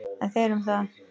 En þeir um það.